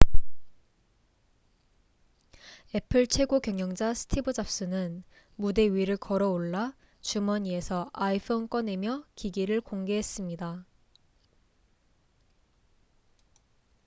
애플 최고경영자 스티브 잡스는 무대 위를 걸어올라 주머니에서 iphone 꺼내며 기기를 공개했습니다